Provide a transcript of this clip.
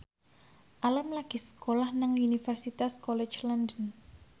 Alam lagi sekolah nang Universitas College London